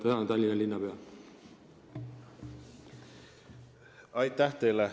Aitäh teile!